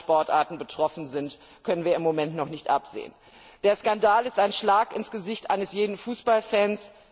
Welche anderen Sportarten betroffen sind, können wir im Moment noch nicht absehen. Der Skandal ist ein Schlag ins Gesicht eines jeden Fußballfans.